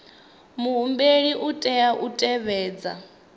muhumbeli u tea u tevhedza